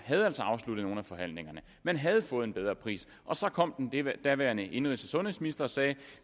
havde afsluttet nogle af forhandlingerne man havde fået en bedre pris og så kom den daværende indenrigs og sundhedsminister og sagde